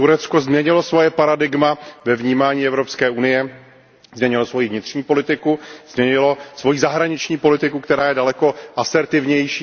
Turecko změnilo své paradigma ve vnímání Evropské unie, změnilo svoji vnitřní politiku, změnilo svoji zahraniční politiku, která je daleko asertivnější.